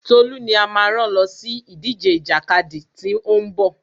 Tolú ni a máa rán lọ sí ìdíje ìjàkadì tí ó ń bọ̀.